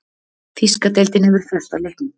Þýska deildin hefur frestað leiknum.